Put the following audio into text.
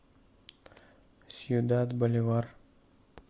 сьюдад боливар